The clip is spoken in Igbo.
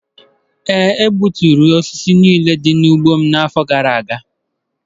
E gbuturu osisi niile dị n'ugbo m n'afọ gara aga.